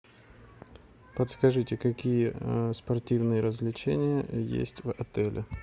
подскажите какие спортивные развлечения есть в отеле